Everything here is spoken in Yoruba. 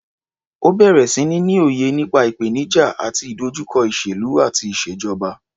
Ó bẹ̀rẹ̀ sí ní ní òye nípa ìpènijà àti ìdojúkọ ìṣèlú àti ìṣèjọba.